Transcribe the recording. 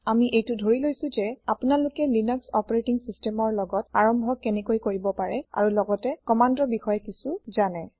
আমি এইটো ধৰি লৈছো যে আপোনালোকে লিনাস অপাৰেটিং systemৰ লগত আৰম্ভ কেনেকৈ কৰিব পাৰে আৰু লগতে কম্মান্দৰ বিষয়ে কিছো যানে